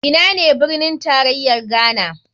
Ina ne birnin tarayar ghana?